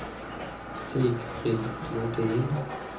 Sigfrid Flodin